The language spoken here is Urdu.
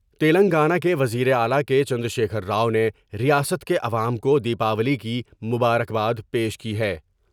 تلنگانہ کے وزیراعلی کے چندر شیکھر راؤ نے ریاست کے عوام کو دیپاولی کی مبارک باد پیش کی ہے ۔